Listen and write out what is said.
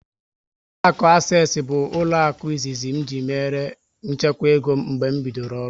Ụlọakụ Asesi bụ ụlọaku izizi ji mère nchekwa ego m mgbe m bidoro ọrụ